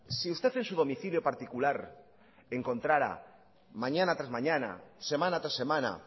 si usted en su domicilio particular encontrará mañana tras mañana semana tras semana